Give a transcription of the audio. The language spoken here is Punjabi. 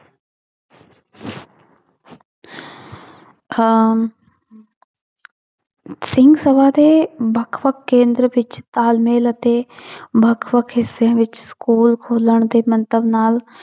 ਹਮ ਸਿੰਘ ਸਭਾ ਦੇ ਵੱਖ ਵੱਖ ਕੇਂਦਰ ਵਿੱਚ ਤਾਲਮੇਲ ਅਤੇ ਵੱਖ ਵੱਖ ਹਿੱਸਿਆਂ ਵਿੱਚ school ਖੋਲਣ ਦੇ ਮੰਤਵ ਨਾਲ